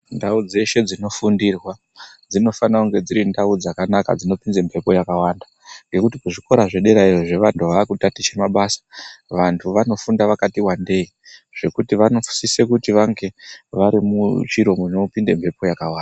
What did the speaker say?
Ndau dzeshe dzinofundirwa dzinofana kunge dziri ndau dzakanaka dzinopinze mphepo yakawanda, ngekuti kuzvikora zvederayo, zvevanthu vaakutatiche mabasa, vantu vanofunda vakati wandei, zvekuti vanosise kuti vange vari muchiro munopinde mphepo yakawanda.